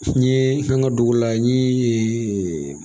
N ye an ka dugu la n ye